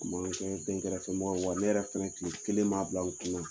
kɛra den kɛrɛfɛ fɛmɔgɔ ye, wa ne yɛrɛ fana tile kelen maa bila n kunna!